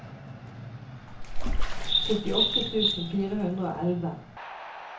syttiåtte tusen fire hundre og elleve